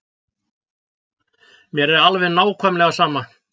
Mér er alveg nákvæmlega sama.